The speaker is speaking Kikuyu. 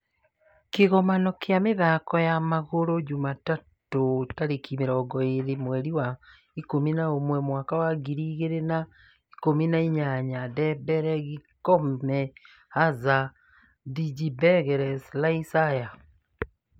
kĩgomano kĩa mĩthako wa magũrũ Jumatatũ tarĩki mĩrongo ĩĩri mweri wa ikumi na ũmwe mwaka wa ngiri igĩri na ikumi na inyanya:Dembele. Gomes, Hazard, Fabregas ,Rice ,Alba